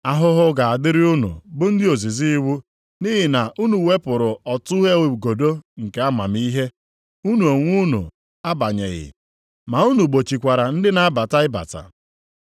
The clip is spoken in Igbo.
“Ahụhụ ga-adịrị unu bụ ndị ozizi iwu, nʼihi na unu wepụrụ ọtụghe igodo nke amamihe. Unu onwe unu abanyeghị, ma unu gbochikwara ndị na-abata ịbata.”